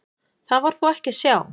Það var þó ekki að sjá.